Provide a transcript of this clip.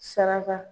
Saraka